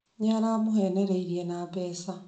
Nĩ aramũheeneriria na mbeca